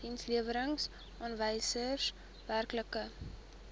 dienslewerings aanwysers werklike